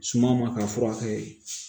Suma ma ka furakɛ